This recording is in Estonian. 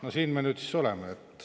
No siin me nüüd siis oleme.